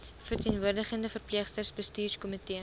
verteenwoordigende verpleegsters bestuurskomitee